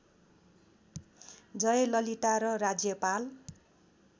जयललिता र राज्यपाल